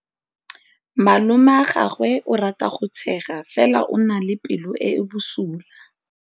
Malomagwe o rata go tshega fela o na le pelo e e bosula.